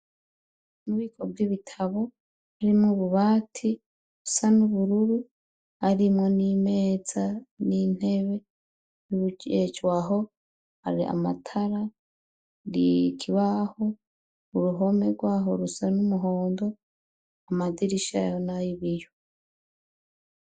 Mu bubiko bw'ibitabu birimwo ububati busa n'ubururu, harimwo n'imeza n'intebe y'uwujejwe aho, hari amatara, n'ikibaho, uruhome rw'aho rusa n'umuhondo, amadirisha yaho ni ay'ibiyo.